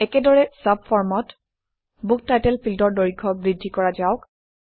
একেদৰে চাবফৰ্মত book title ফিল্ডৰ দৈৰ্ঘ্য বৃদ্ধি কৰা যাওক